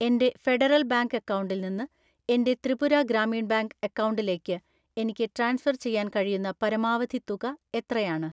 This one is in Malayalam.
എൻ്റെ ഫെഡറൽ ബാങ്ക് അക്കൗണ്ടിൽ നിന്ന് എൻ്റെ ത്രിപുര ഗ്രാമീൺ ബാങ്ക് അക്കൗണ്ടിലേക്ക് എനിക്ക് ട്രാൻസ്ഫർ ചെയ്യാൻ കഴിയുന്ന പരമാവധി തുക എത്രയാണ്?